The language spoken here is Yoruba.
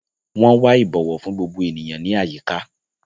Wọn wà ibọwọ fún gbogbo ènìyàn ní àyíká.